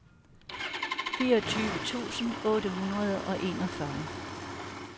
fireogtyve tusind otte hundrede og enogfyrre